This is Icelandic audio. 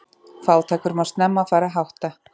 Fátækur má snemma fara að hátta.